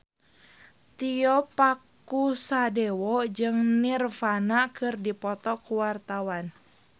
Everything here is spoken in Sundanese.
Tio Pakusadewo jeung Nirvana keur dipoto ku wartawan